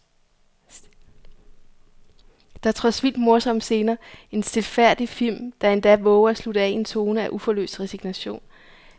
Der er trods vildt morsomme scener en stilfærdig film, der endda vover at slutte af i en tone af uforløst resignation.